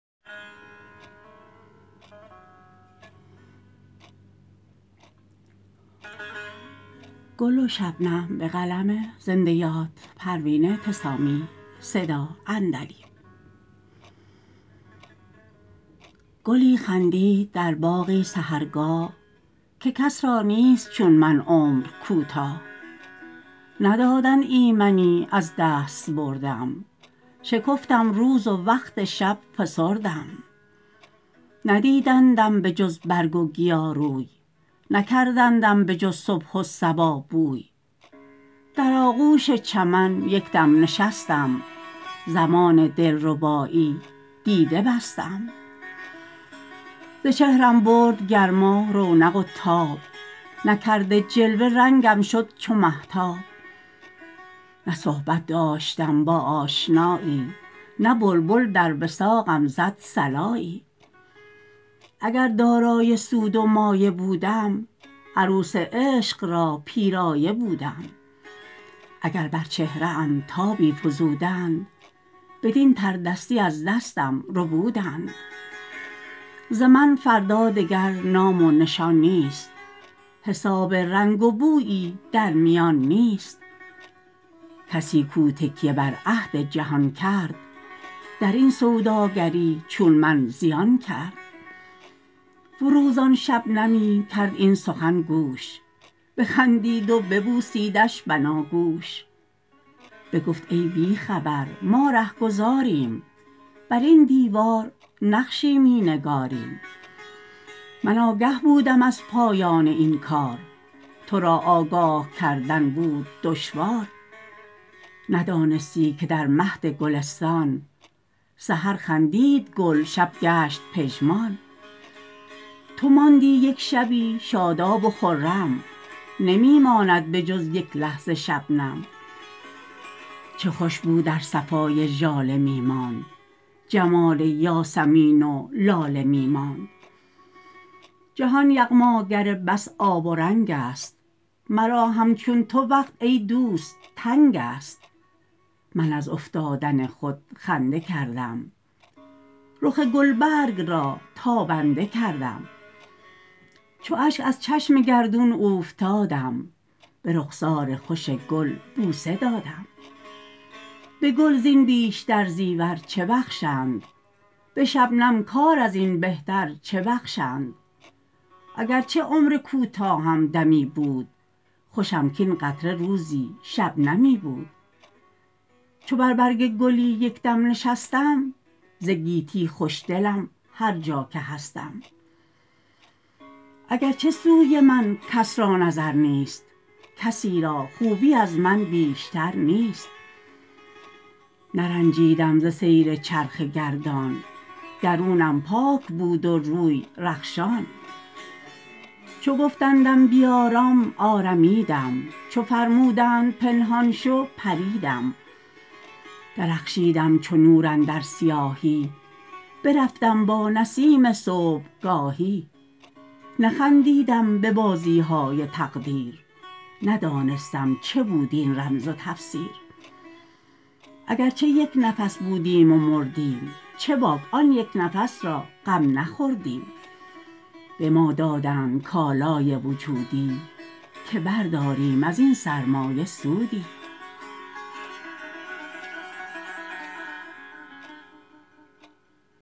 گلی خندید در باغی سحرگاه که کس را نیست چون من عمر کوتاه ندادند ایمنی از دستبردم شکفتم روز و وقت شب فسردم ندیدندم به جز برگ و گیا روی نکردندم به جز صبح و صبا بوی در آغوش چمن یک دم نشستم زمان دلربایی دیده بستم ز چهرم برد گرما رونق و تاب نکرده جلوه رنگم شد چو مهتاب نه صحبت داشتم با آشنایی نه بلبل در وثاقم زد صلایی اگر دارای سود و مایه بودم عروس عشق را پیرایه بودم اگر بر چهره ام تابی فزودند بدین تردستی از دستم ربودند ز من فردا دگر نام و نشان نیست حساب رنگ و بویی در میان نیست کسی کو تکیه بر عهد جهان کرد درین سوداگری چون من زیان کرد فروزان شبنمی کرد این سخن گوش بخندید و ببوسیدش بناگوش بگفت ای بی خبر ما رهگذاریم بر این دیوار نقشی می نگاریم من آگه بودم از پایان این کار ترا آگاه کردن بود دشوار ندانستی که در مهد گلستان سحر خندید گل شب گشت پژمان تو ماندی یک شبی شاداب و خرم نمی ماند به جز یک لحظه شبنم چه خوش بود ار صفای ژاله می ماند جمال یاسمین و لاله می ماند جهان یغماگر بس آب و رنگ است مرا هم چون تو وقت ای دوست تنگ است من از افتادن خود خنده کردم رخ گلبرگ را تابنده کردم چو اشک از چشم گردون اوفتادم به رخسار خوش گل بوسه دادم به گل زین بیشتر زیور چه بخشد به شبنم کار ازین بهتر چه بخشد اگرچه عمر کوتاهم دمی بود خوشم کاین قطره روزی شبنمی بود چو بر برگ گلی یک دم نشستم ز گیتی خوش دلم هر جا که هستم اگرچه سوی من کس را نظر نیست کسی را خوبی از من بیشتر نیست نرنجیدم ز سیر چرخ گردان درونم پاک بود و روی رخشان چو گفتندم بیارام آرمیدم چو فرمودند پنهان شو پریدم درخشیدم چو نور اندر سیاهی برفتم با نسیم صبحگاهی نه خندیدم به بازی های تقدیر نه دانستم چه بود این رمز و تفسیر اگرچه یک نفس بودیم و مردیم چه باک آن یک نفس را غم نخوردیم به ما دادند کالای وجودی که برداریم ازین سرمایه سودی